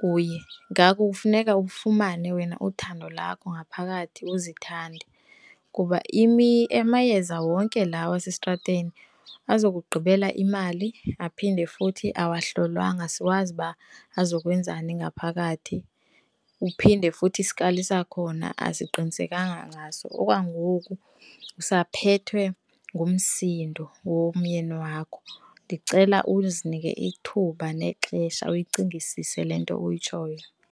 kuye. Ngako kufuneka ufumane wena uthando lakho ngaphakathi uzithande kuba amayeza wonke lawo asestrateni aza kugqibela imali aphinde futhi awahlolwanga asiwazi uba azokwenzani ngaphakathi, uphinde futhi iskali sakhona asiqinisekanga ngaso. Okwangoku, usaphethwe ngumsindo womyeni wakho, ndicela uzinike ithuba nexesha uyicingisise le nto oyitshoyo.